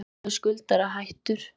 Umboðsmaður skuldara hættur